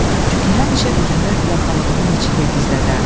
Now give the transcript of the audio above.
Çünki həmişə üzünü yaxalığının içində gizlədərdi.